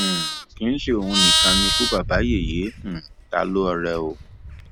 um kì í ṣe òun nìkan ni ikú babayẹyẹ um ta lọrẹ o